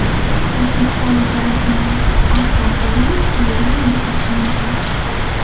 O‘zbekistonlik yarim himoyachi Oston O‘runov klubini almashtirishi mumkin.